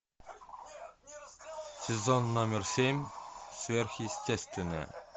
сезон номер семь сверхъестественное